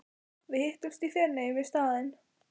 Við hittumst í Feneyjum í staðinn.